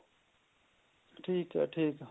ਠੀਕ ਏ ਠੀਕ